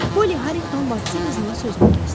Poli Harinqton bacısı qızının sözünü kəsdi.